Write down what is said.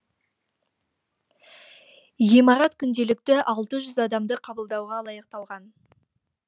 ғимарат күнделікті алты жүз адамды қабылдауға лайықталған